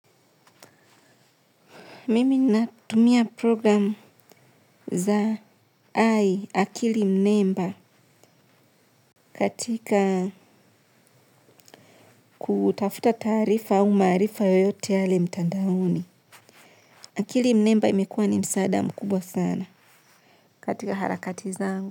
Mimi natumia program za ai akili nemba katika kutafuta tarifa au maarifa yoyote yale mtandaoni. Akili nemba imekua ni msada mkubwa sana katika harakati zangu.